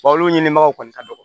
olu ɲinibagaw kɔni ka dɔgɔn